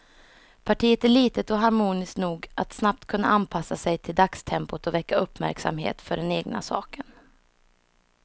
Partiet är litet och harmoniskt nog att snabbt kunna anpassa sig till dagstempot och väcka uppmärksamhet för den egna saken.